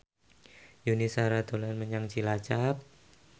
Yuni Shara dolan menyang Cilacap